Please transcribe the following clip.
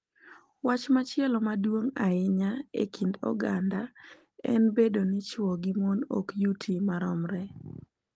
Wach machielo maduong’ ahinya e kind oganda en bedo ni chwo gi mon ok yuti maromre .